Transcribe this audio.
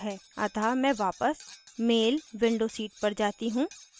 अतः मैं वापस मेल window seat पर जाती हूँ